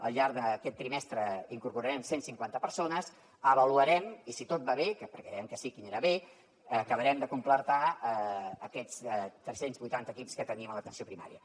al llarg d’aquest trimestre incorporarem cent cinquanta persones avaluarem i si tot va bé perquè creiem que sí que anirà bé acabarem de completar aquests tres cents i vuitanta equips que tenim a l’atenció primària